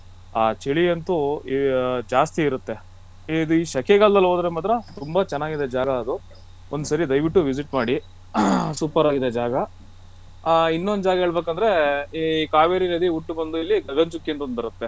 ಆ ಚಳಿ ಅಂತೂ ಆ ಜಾಸ್ತಿ ಇರುತ್ತೇ ಈ ಸೆಕೆಗಾಲದಲ್ಲಿ ಹೋದ್ರೆ ಮಾತ್ರ ತುಂಬಾ ಚೆನ್ನಾಗಿದೆ ಜಾಗ ಅದು ಒಂದ್ಸರಿ ದಯವಿಟ್ಟು visit ಮಾಡಿ super ಆಗಿದೆ ಜಾಗ ಆ ಇನ್ನೊಂದು ಜಾಗ ಹೇಳ್ಬೇಕು ಅಂದ್ರೆ ಈ ಕಾವೇರಿ ನದಿ ಹುಟ್ಟು ಬಂದು ಇಲ್ಲಿ ಗಗನಚುಕ್ಕಿ ಅಂಥ ಬರುತ್ತೆ.